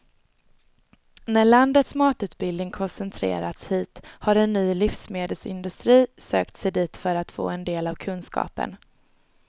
När landets matutbildning koncentrerats hit har en ny livsmedelsindustri sökt sig dit för att få del av kunskapen.